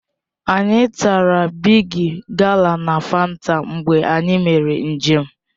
Anyị tara bịgị gala na Fanta mgbe anyị mere njem